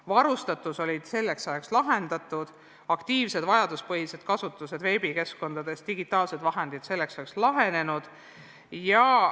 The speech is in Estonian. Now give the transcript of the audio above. Varustatuse probleemid olid selleks ajaks lahendatud, aktiivsed vajaduspõhised kasutused veebikeskkondades toimisid, digitaalsed vahendid olid selleks ajaks olemas.